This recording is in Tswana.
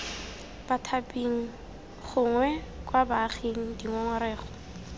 bathaping gongwe kwa baaging dingongorego